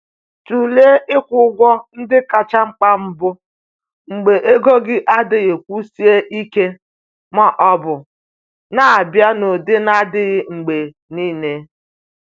Tụlee ịkwụ ụgwọ ndị kacha mkpa mbụ mgbe ego gị adịghị kwụsie ike ma ọ bụ na-abịa n’ụdị na-adịghị mgbe niile.